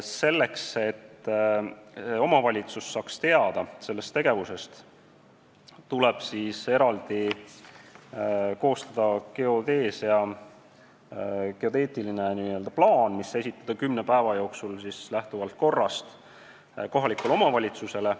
Selleks, et omavalitsus saaks sellest tegevusest teada, tuleb koostada n-ö geodeetiline plaan, mis esitatakse korrast lähtuvalt kümne päeva jooksul kohalikule omavalitsusele.